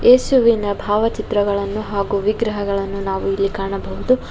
ಯೇಸುವಿನ ಭಾವಚಿತ್ರಗಳನ್ನು ಹಾಗು ವಿಗ್ರಹಗಳನ್ನು ನಾವು ಇಲ್ಲಿ ಕಾಣಬಹುದು.